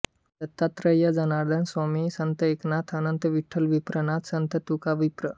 Dattatray Janardan Swami Sant Eknath Anant Vitthal Vipranath Sant Tukavipra